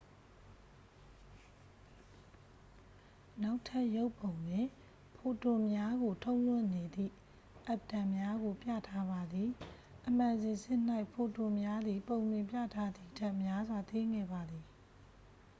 နောက်ထပ်ရုပ်ပုံတွင် ဖိုတွန်များကို ထုတ်လွှတ်နေသည့် အက်တမ်များကို ပြထားပါသည် အမှန်စင်စစ်၌ ဖိုတွန်များသည် ပုံတွင်ပြထားသည်ထက် များစွာ သေးငယ်ပါသည်